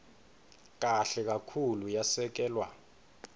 kahle kakhulu yasekelwa